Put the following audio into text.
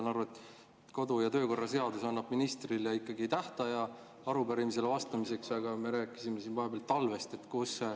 Ma saan aru, et kodu‑ ja töökorra seadus annab ministrile ikkagi tähtaja arupärimisele vastamiseks, aga me rääkisime siin vahepeal talvest.